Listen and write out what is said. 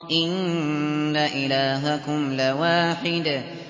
إِنَّ إِلَٰهَكُمْ لَوَاحِدٌ